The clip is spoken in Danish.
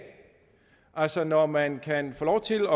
altså når man kan få lov til